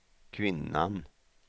kvinnan